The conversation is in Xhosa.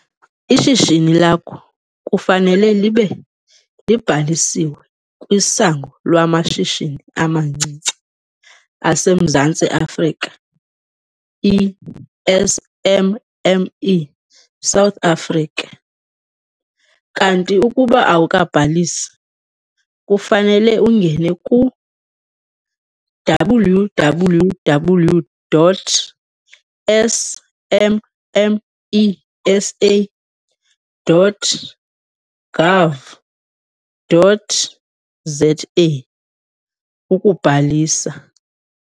Ishishini lakho kufanele libe libhalisiwe kwiSango lwamaShishini amaNcinci aseMzantsi Afrika, i-SMME South Africa. Kanti ukuba awukabhalisi, kufanele ungene ku-www.smmesa.gov.za ukubhalisa.